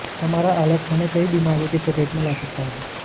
हमारा आलस हमें कई बीमारियों की चपेट में ला सकता है